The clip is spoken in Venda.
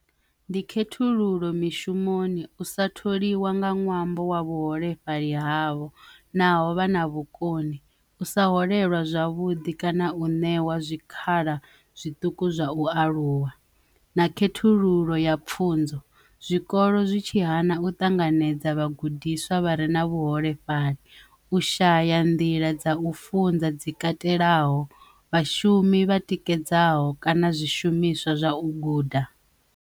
Ndi khethululo mishumoni u sa tholiwa nga ṅwambo wa vhuholefhali havho naho vha na vhukoni u sa holeliwa zwavhuḓi kana, u ṋewa zwikhala zwiṱuku zwa u aluwa na khethululo ya pfhunzo zwikolo zwi tshi hana u ṱanganedza vhagudiswa vha re na vhuholefhali u shaya nḓila dza u funza dzi katelaho vhashumi vha tikedzaho kana zwishumiswa zwa u guda.